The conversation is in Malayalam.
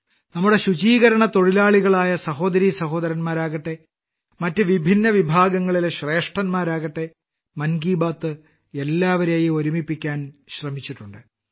നമ്മുടെ ശുചീകരണത്തൊഴിലാളികളായ സഹോദരീസഹോദരന്മാരാകട്ടെ മറ്റു വിഭിന്നവിഭാഗങ്ങളിലെ ശ്രേഷ്ഠന്മാരാകട്ടെ മൻ കി ബാത്ത് എല്ലാവരേയും ഒരുമിപ്പിക്കാൻ ശ്രമിച്ചിട്ടുണ്ട്